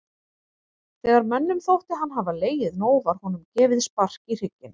Þegar mönnum þótti hann hafa legið nóg var honum gefið spark í hrygginn.